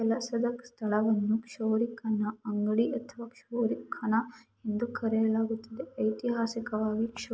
ಕೆಲಸದ ಸ್ಥಳವನ್ನು ಚೌರಿಕನ ಅಂಗಡಿ ಅಥವಾ ಚೌರಿಕನ ಎಂದು ಕರೆಯಲಾಗುತ್ತದೆ. ಐತಿಹಾಸಿಕವಾಗಿ--